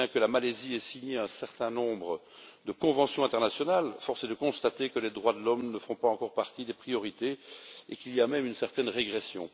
Bien que la Malaisie ait signé un certain nombre de conventions internationales, force est de constater que les droits de l'homme ne font pas encore partie des priorités et qu'il y a même une certaine régression.